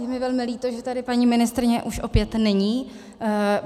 Je mi velmi líto, že tady paní ministryně už opět není.